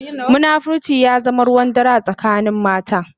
Munafunci ya zama ruwan dare a tsakanin mata.